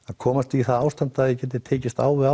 að komast í það ástand að ég geti tekist á við